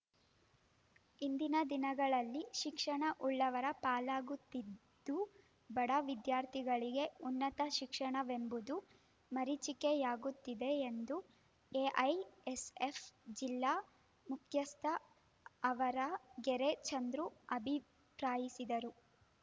ಇಂದಿನ ದಿನಗಳಲ್ಲಿ ಶಿಕ್ಷಣ ಉಳ್ಳವರ ಪಾಲಾಗುತ್ತಿದ್ದು ಬಡ ವಿದ್ಯಾರ್ಥಿಗಳಿಗೆ ಉನ್ನತ ಶಿಕ್ಷಣವೆಂಬುದು ಮರೀಚಿಕೆಯಾಗುತ್ತಿದೆ ಎಂದು ಎಐಎಸ್‌ಎಫ್‌ ಜಿಲ್ಲಾ ಮುಖ್ಯಸ್ಥ ಆವರಗೆರೆ ಚಂದ್ರು ಅಭಿಪ್ರಾಯಿಸಿದರು